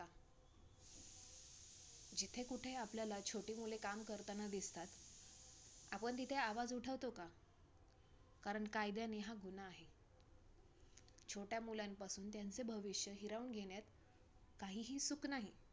जिथे कुठे आपल्याला छोटी मुले काम करताना दिसतात, आपण तिथे आवाज उठावतो का? कारण कायद्याने का गुन्हा आहे. छोट्या मुलांपासून त्यांचे भविष्य हिरावून घेण्यात काहीही सुख नाही.